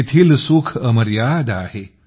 येथील सुख अमर्याद आहे